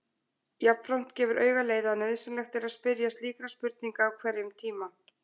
Jafnframt gefur auga leið að nauðsynlegt er að spyrja slíkra spurninga á hverjum tíma.